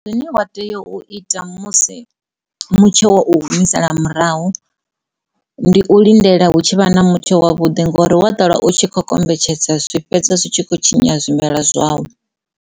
Zwine wa tea u ita musi mutsho wo u humisela murahu ndi u lindela hu tshi vha na mutsho wa vhuḓi ngori wa ṱwela u tshi kho kombetshedza zwi fhedza zwi kho tshinya zwimela zwau.